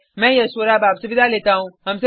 मैं यश वोरा आपसे विदा लेता हूँ